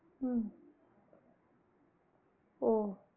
உம் ஓ